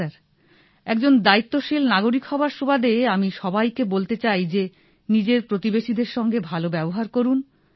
হ্যাঁ স্যার একজন দায়িত্বশীল নাগরিক হওয়ার সুবাদে আমি সবাইকে বলতে চাই যে নিজের প্রতিবেশিদের সঙ্গে ভাল ব্যবহার করুন